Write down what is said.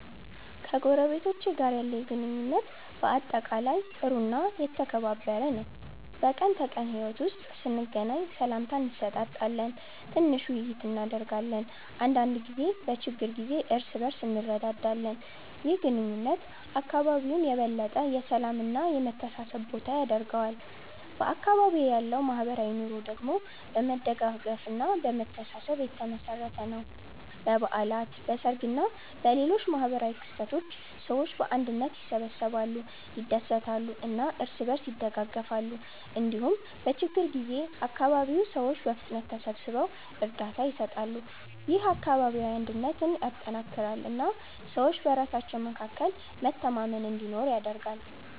ከጎረቤቶቼ ጋር ያለኝ ግንኙነት በአጠቃላይ ጥሩ እና የተከባበረ ነው። በቀን ተቀን ሕይወት ውስጥ ስንገናኝ ሰላምታ እንሰጣጣለን፣ ትንሽ ውይይት እናደርጋለን እና አንዳንድ ጊዜ በችግር ጊዜ እርስ በእርስ እንረዳዳለን። ይህ ግንኙነት አካባቢውን የበለጠ የሰላም እና የመተሳሰብ ቦታ ያደርገዋል። በአካባቢዬ ያለው ማህበራዊ ኑሮ ደግሞ በመደጋገፍ እና በመተሳሰብ የተመሠረተ ነው። በበዓላት፣ በሰርግ እና በሌሎች ማህበራዊ ክስተቶች ሰዎች በአንድነት ይሰበሰባሉ፣ ይደሰታሉ እና እርስ በእርስ ይደጋገፋሉ። እንዲሁም በችግኝ ጊዜ አካባቢው ሰዎች በፍጥነት ተሰብስበው እርዳታ ይሰጣሉ። ይህ አካባቢያዊ አንድነትን ያጠናክራል እና ሰዎች በራሳቸው መካከል መተማመን እንዲኖር ያደርጋል።